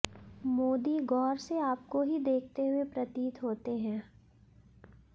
मोदी गौर से आपको ही देखते हुए प्रतीत होते हैं